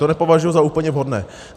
To nepovažuji za úplně vhodné.